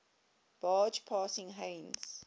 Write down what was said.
barge passing heinz